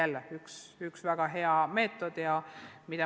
Nii et üks väga hea meetod.